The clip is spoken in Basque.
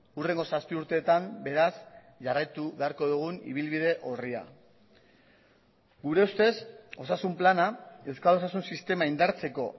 hurrengo zazpi urteetan beraz jarraitu beharko dugun ibilbide orria gure ustez osasun plana euskal osasun sistema indartzeko